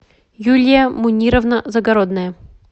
юлия мунировна загородная